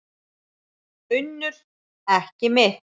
UNNUR: Ekki mitt.